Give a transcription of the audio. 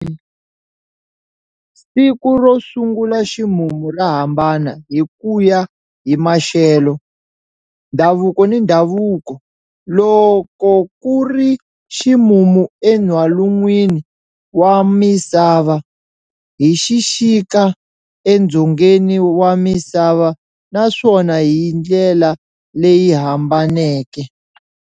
Siku ro sungula ximumu ra hambana hi ku ya hi maxelo, ndhavuko ni ndhavuko. Loko ku ri ximumu eN'walungwini wa Misava, i xixika eDzongeni wa Misava, naswona hi ndlela leyi hambaneke.